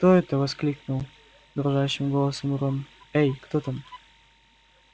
кто это воскликнул дрожащим голосом рон эй кто там